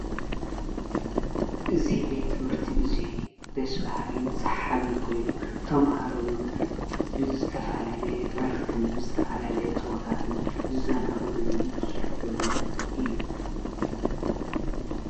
እዙ ቤት ምህርቲ እዙይ ደስብሃልን ሰሓብን ኮይኑ ተምሃሮ ዉን ብዝተፈላለየ ዕርፍትን ብዝተፈላለየ ጸወታትን ዘናጕዑ ሉን ዝስሕቑን እዩ::